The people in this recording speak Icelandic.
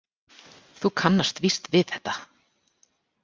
Þú kannast víst við þetta!